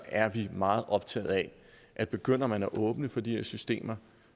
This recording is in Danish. er meget optaget af at begynder man at åbne for de her systemer